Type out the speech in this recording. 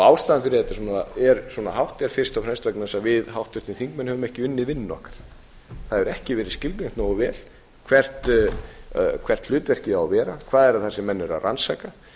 fyrir því að þetta er svona hátt er fyrst og fremst vegna þess að við háttvirtir þingmenn höfum ekki unnið vinnuna okkar það hefur ekki verið skilgreint nógu vel hvert hlutverkið á að vera hvað er það sem menn eru að rannsaka